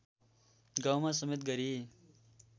गाउँमा समेत गरी